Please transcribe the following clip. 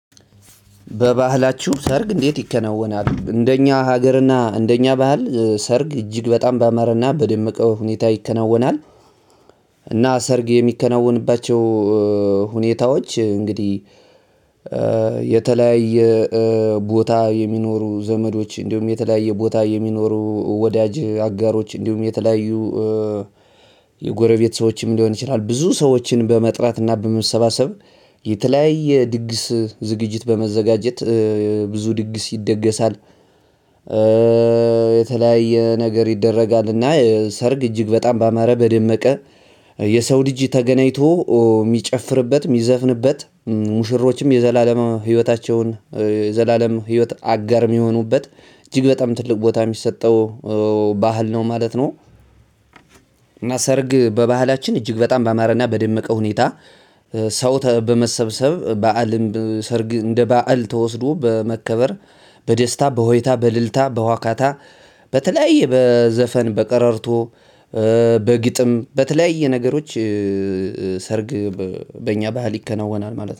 በባህላችሁ ሰርግ እንዴት ይከናወናል እንደኛ ሀገርና እንደኛ ባህል ሰርግ እጅግ በጣም ባማረና በደመቀ ሁኔታ ይከናወናል። እና ሰርግ የሚከናወንባቸው ሁኔታዎች እንግዲህ የተለያየ ቦታ የሚኖሩ ዘመዶች እንዲሁም የተለያየ ቦታ የሚኖሩ ወዳጅ አጋሮች እንዲሁም የተለያዩ የጎረቤት ሰዎችም ሊሆን ይችላል ብዙ ሰዎችን በመጥራት እና በመሰባሰብ የተለያየ ድግስ ዝግጅት በመዘጋጀት ብዙ ድግስ ይደገሳል። የተለያየ ነገር ይደረጋልና ሰርግ እጅግ በጣም ባማረ በደመቀ የሰው ልጅ ተገናኝቶ ሚጨፍርበት ሚዘፍንበት ሙሽሮችም የዘላለማ ህይወታቸውን የዘላለም ህይወት አጋር የሚሆኑበት እጅግ በጣም ትልቅ ቦታ የሚሰጠው ባህል ነው ማለት ነው። እና ሰርግ በባህላችን እጅግ በጣም ባማረና በደመቀ ሁኔታ ሰው በመሰብሰብ በዓልም ሰርግ እንደ በዓል ተወስዶ በመከበር በደስታ በሆይታ በልልታ በዋካታ በተለያየ በዘፈን በቀራርቶ በግጥም በተለያየ ነገሮች ሰርግ በእኛ ባህል ይከናወናል ማለት ነው